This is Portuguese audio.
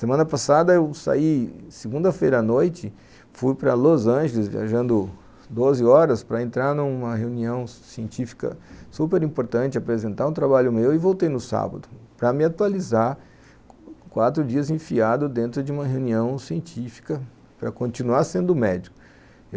Semana passada eu saí, segunda-feira à noite, fui para Los Angeles viajando doze horas para entrar numa reunião científica super importante, apresentar um trabalho meu e voltei no sábado para me atualizar, quatro dias enfiado dentro de uma reunião científica para continuar sendo médico.